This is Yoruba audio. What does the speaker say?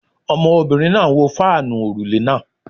Ọmọbìnrin náà ń wo fáànù òrùlé náà